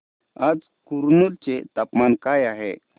आज कुरनूल चे तापमान काय आहे